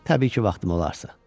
Təbii ki, vaxtım olarsa.